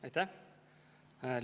Aitäh!